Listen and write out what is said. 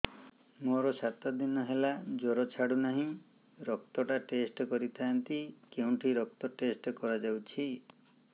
ମୋରୋ ସାତ ଦିନ ହେଲା ଜ୍ଵର ଛାଡୁନାହିଁ ରକ୍ତ ଟା ଟେଷ୍ଟ କରିଥାନ୍ତି କେଉଁଠି ରକ୍ତ ଟେଷ୍ଟ କରା ଯାଉଛି